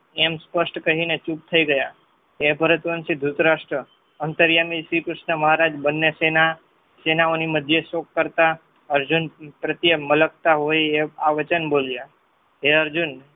એમ સ્પષ્ટ કહીને ચુપ થય ગયા એ ભારત વનસી દ્રુતરાષ્ટ્ર અંતર્યામી શ્રી કૃષ્ણ મહારાજ ને સેનાઓની મધ્ય શોક કરતા અર્જુન પ્રત્યે મલક્તાં હોય આ વચન બોલ્યા હે અર્જુન